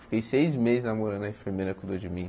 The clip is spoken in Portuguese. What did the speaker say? Fiquei seis meses namorando a enfermeira que cuidou de mim.